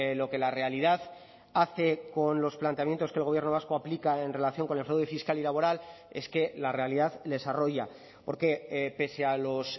lo que la realidad hace con los planteamientos que el gobierno vasco aplica en relación con el fraude fiscal y laboral es que la realidad les arroya porque pese a los